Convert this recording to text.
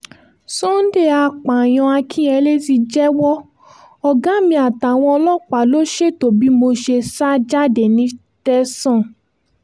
sunday apààyàn akinyele ti jẹ́wọ́ ọ̀gá mi àtàwọn ọlọ́pàá ló ṣètò bí mo ṣe sá jáde ní tẹ̀sán